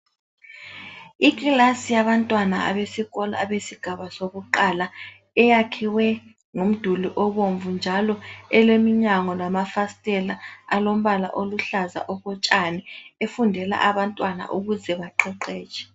Iclass yabantwana abesikolo abesigaba sokuqala eyakhiwe ngomduli obomvu njalo eleminyango lamafastela alombala oluhlaza okotshani. Ifundela abantwana ukuze baqeqetshe.